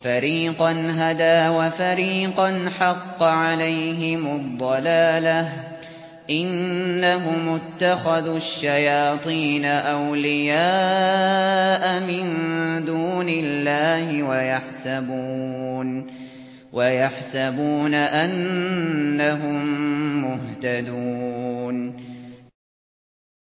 فَرِيقًا هَدَىٰ وَفَرِيقًا حَقَّ عَلَيْهِمُ الضَّلَالَةُ ۗ إِنَّهُمُ اتَّخَذُوا الشَّيَاطِينَ أَوْلِيَاءَ مِن دُونِ اللَّهِ وَيَحْسَبُونَ أَنَّهُم مُّهْتَدُونَ